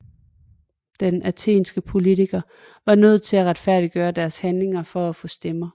De athenske politikere var nødt til at retfærdiggøre deres handlinger for at få stemmer